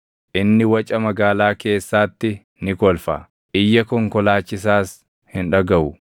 Inni waca magaalaa keessaatti ni kolfa; iyya konkolaachisaas hin dhagaʼu.